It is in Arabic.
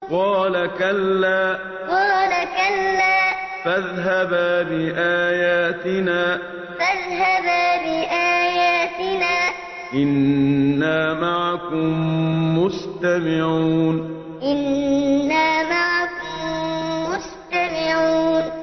قَالَ كَلَّا ۖ فَاذْهَبَا بِآيَاتِنَا ۖ إِنَّا مَعَكُم مُّسْتَمِعُونَ قَالَ كَلَّا ۖ فَاذْهَبَا بِآيَاتِنَا ۖ إِنَّا مَعَكُم مُّسْتَمِعُونَ